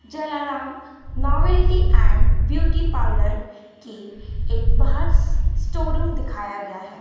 Jalaram novelty and beauty parlour के एक बाहर स्टोर रूम दिखाया गया है।